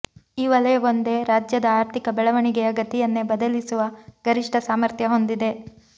ಈ ವಲಯವೊಂದೇ ರಾಜ್ಯದ ಆರ್ಥಿಕ ಬೆಳವಣಿಗೆಯ ಗತಿಯನ್ನೇ ಬದಲಿಸುವ ಗರಿಷ್ಠ ಸಾಮರ್ಥ್ಯ ಹೊಂದಿದೆ